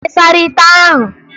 Ị sara ite ahụ?